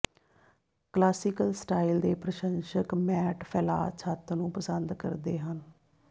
classical style ਦੇ ਪ੍ਰਸ਼ੰਸਕ matte ਫੈਲਾਅ ਛੱਤ ਨੂੰ ਪਸੰਦ ਕਰਦੇ ਹਨ